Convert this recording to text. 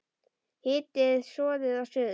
Hitið soðið að suðu.